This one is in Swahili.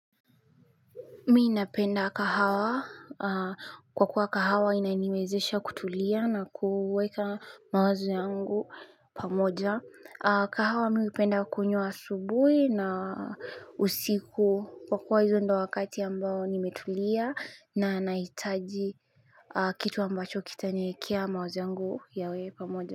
Mi ninapenda kahawa. Kwa kuwa kahawa inanimezesha kutulia na kuweka mawazo yangu pamoja. Kahawa mi upenda kunywa asubuhi na usiku kwa kuwa hizo ndo wakati ambao nimetulia na anaitaji kitu ambacho kita niekea mawazo yangu yawe pamoja.